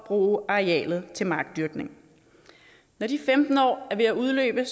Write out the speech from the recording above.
bruge arealet til markdyrkning når de femten år er ved at udløbe